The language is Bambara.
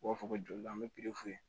U b'a fɔ ko joli la an bɛ